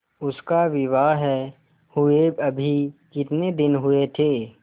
उसका विवाह हुए अभी कितने दिन हुए थे